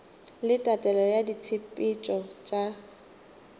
le tatelelo ya ditshepetšo tša